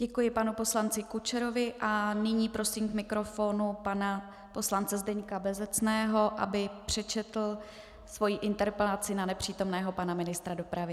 Děkuji panu poslanci Kučerovi a nyní prosím k mikrofonu pana poslance Zdeňka Bezecného, aby přečetl svoji interpelaci na nepřítomného pana ministra dopravy.